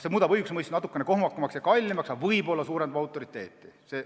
See muudab õigusemõistmise natukene kohmakamaks ja kallimaks, aga võib-olla suurendab selle autoriteeti.